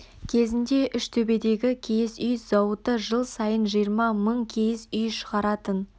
кезінде үштөбедегі киіз үй зауыты жыл сайын жиырма мың киіз үй шығаратын